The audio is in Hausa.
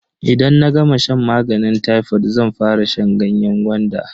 Idan na gama shan maganin tayfod zan fara shan ganyen gwanda.